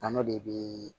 An'o de be